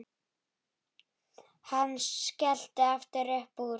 Hann skellti aftur upp úr.